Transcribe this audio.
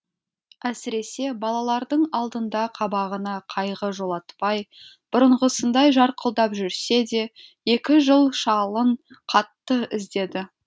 әсіресе балалардың алдында қабағына қайғы жолатпай бұрынғысындай жарқылдап жүрсе де екі жыл шалын қатты іздеді